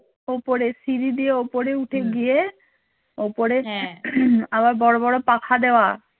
ওপরে সিঁড়ি দিয়ে ওপরে উঠে গিয়ে ওপরে আবার বড় বড় পাখা দেওয়া